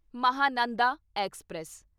Mahananda express